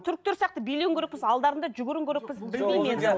түріктер сияқты билеуің керек болса алдарында жүгіруің керек болса білмеймін енді